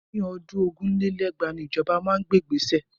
Ní ọdún ogún lé lẹ́gbàá ni ìjọba máa gbé ìgbéṣẹ̀